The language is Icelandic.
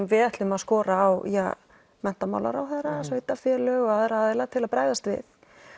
við ætlum að skora á menntamaálaráðherra og sveitarfélög og aðra aðila til að bregðast við